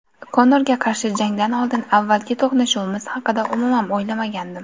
Konorga qarshi jangdan oldin avvalgi to‘qnashuvimiz haqida umuman o‘ylamadim.